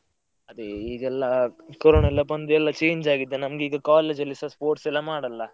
ಅದೇ ಈಗ ಎಲ್ಲ ಕೊರೊನ ಎಲ್ಲ ಬಂದು ಎಲ್ಲ change ಆಗಿದೆ ನಮ್ಗೆ ಈಗ college ಅಲ್ಲಿಸ sports ಎಲ್ಲ ಮಾಡಲ್ಲ.